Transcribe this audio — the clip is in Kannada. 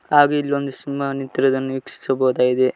ಹಾಗು ಇಲ್ಲೊಂದು ಸಿಂಹ ನಿಂತಿರುವುದನ್ನು ವೀಕ್ಷಿಸಬಹುದಾಗಿದೆ.